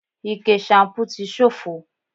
Ike ṣanpú ti ṣófo